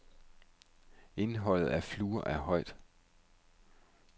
Indholdet af fluor er højt.